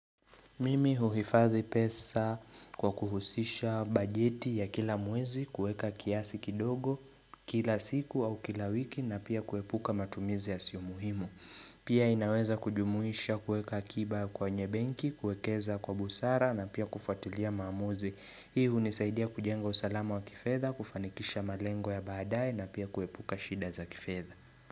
Mimi huhifadhi pesa kwa kuhusisha bajeti ya kila mwezi kuweka kiasi kidogo kila siku au kila wiki na pia kuepuka matumizi yasiyo muhimu. Pia inaweza kujumuisha kuweka akiba kwenye benki, kuekeza kwa busara na pia kufuatilia maamuzi. Hii hunisaidia kujenga usalama wa kifedha, kufanikisha malengo ya baadaye na pia kuepuka shida za kifedha.